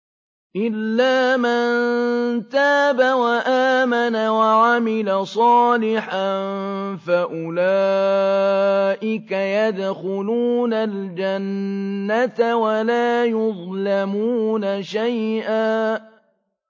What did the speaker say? إِلَّا مَن تَابَ وَآمَنَ وَعَمِلَ صَالِحًا فَأُولَٰئِكَ يَدْخُلُونَ الْجَنَّةَ وَلَا يُظْلَمُونَ شَيْئًا